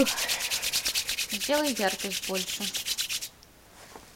сделай яркость больше